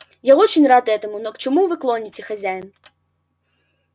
я очень рад этому но к чему вы клоните хозяин